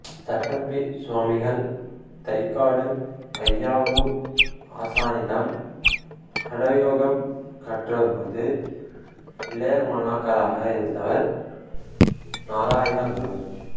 சட்டம்பி சுவாமிகள் தைக்காடு அய்யாவு ஆசானிடம் ஹடயோகம் கற்றபோது இளைய மாணாக்கராக இருந்தவர் நாராயணகுரு